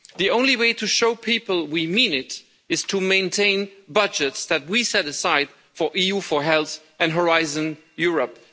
The only way to show people we mean it is to maintain budgets that we set aside for EU for Health and Horizon Europe.